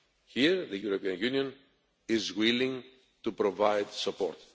Here the European Union is willing to provide support.